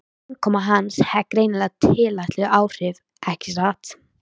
Innkoma hans hafði greinilega tilætluð áhrif- ekki satt?